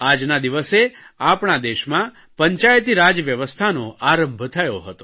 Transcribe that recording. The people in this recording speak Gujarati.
આજના દિવસે આપણા દેશમાં પંચાયતીરાજ વ્યવસ્થાનો આરંભ થયો હતો